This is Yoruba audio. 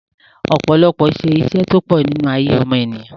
ọpọlọ se isẹ́ tó pọ̀ nínú ayé ọmọ ènìyàn